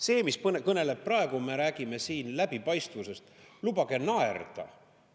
See, mis kõneleb praegu, me räägime siin läbipaistvusest – lubage naerda.